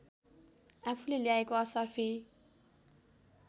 आफूले ल्याएको असर्फी